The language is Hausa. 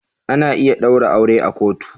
Ana iya ɗaura aure a kotu.